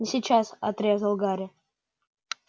не сейчас отрезал гарри